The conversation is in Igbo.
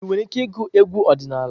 Ị nwere ike ịgụ egwu ọdịnala?